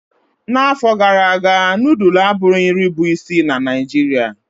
N'afọ gara aga nudulu abụghị nri bụ isi na Naijiria.